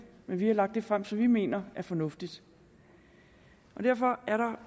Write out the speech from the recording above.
men vi har lagt det frem som vi mener er fornuftigt derfor er der